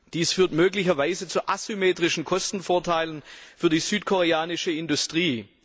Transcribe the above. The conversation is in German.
Dies führt möglicherweise zu asymmetrischen Kostenvorteilen für die südkoreanische Industrie.